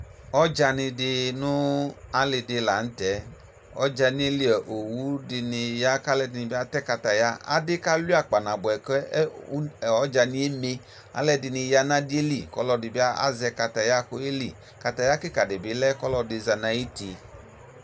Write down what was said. Ɔdzanɩ dɩ nʋ alɩ dɩ la nʋ tɛ Ɔdzanɩ yɛ li a owu dɩnɩ ya kʋ alʋɛdɩnɩ bɩ atɛ kataya Adɩ kalʋɩa kpanabʋɛ kɛ u ɔdzanɩ yɛ eme Alʋɛdɩnɩ ya nʋ adɩ yɛ li kʋ ɔlɔdɩ bɩ azɛ kataya kʋ ɔyeli Kataya kɩka dɩ bɩ lɛ kʋ ɔlɔdɩ za nʋ ayuti